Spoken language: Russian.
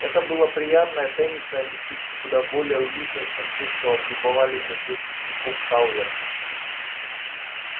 это было приятное тенистое местечко куда более уютное чем то что облюбовали для своих пикников калверты